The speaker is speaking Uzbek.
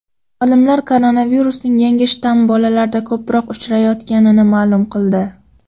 Olimlar koronavirusning yangi shtammi bolalarda ko‘proq uchrayotganini ma’lum qildi.